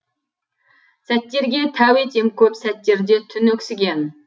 сәттерге тәу етем көп сәттерде түн өксіген